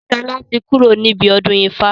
Sola tí kúrò níbi ọdún ifá